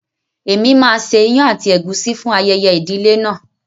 Èmi máa ṣe ìyàn àti ègúsí fún ayẹyẹ ìdílé náà.